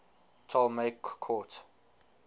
ptolemaic court